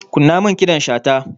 Kunna min ƙidan shata.